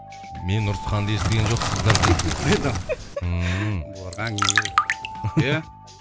мен ұрысқанды естіген жоқсыздар дейсіз ғой ммм бұларға әңгіме керек иә